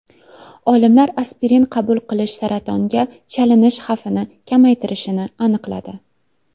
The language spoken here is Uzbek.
Olimlar aspirin qabul qilish saratonga chalinish xavfini kamaytirishini aniqladi.